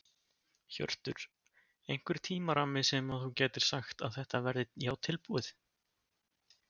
Hjörtur: Einhver tímarammi sem að þú gætir sagt að þetta verði já tilbúið?